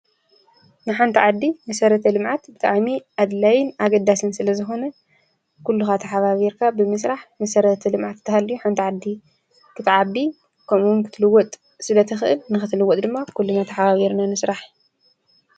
ንሓንቲ ዓዲ መሰረተ ልምዓት ብጣሚ ኣድላይ ኣገዳስን ስለ ዝኮነ ኩሉካ ተሓባቢርካ ብምስራሕ መሰረታዊ ልምዓት እንተሃልዩ ሓንቲ ዓዲ ክትዓቢ ክምኡ እውን ክትልወጥ ስለ እትክእል ንክትልወጥ ድማ ኩለና ተሓባቢርና ንስራሕ።